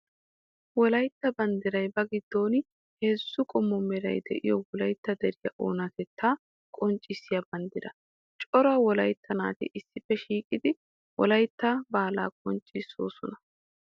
Wolaytta banddiray ba giddon heezzu qommo meray de'iyo wolaytta deriya oonatetta qonccissiya banddira. Cora wolaytta naati issippe shiiqidi wolaytta baala bonchchoosonna.